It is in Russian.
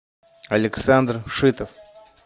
александр шитов